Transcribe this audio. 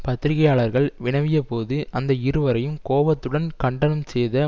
பத்திரிகையாளர்கள் வினவியபோது அந்த இருவரையும் கோபத்துடன் கண்டனம் செய்த